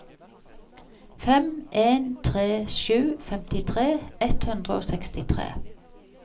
fem en tre sju femtitre ett hundre og sekstitre